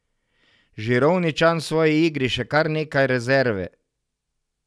Žirovničan v svoji igri še kar nekaj rezerve.